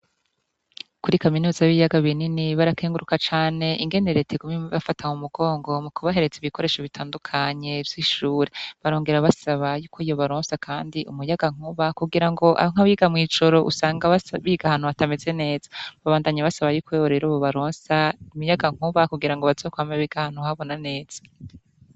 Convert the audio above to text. Kuri kaminuza b'iyaga binini barakenguruka cane ingeneree tigumim afatam umugongo mu kubahereza ibikoresho bitandukanye vy'ishure barongera basaba yuko iyo baronsa, kandi umuyagankuba kugira ngo amwe abiga mw'ijoro usanga babigahantu batameze neza babandanya basaba yuko webo rero bo baronsa umuyaga nkuba kugira ngo bazokwama beka hantu habona netse.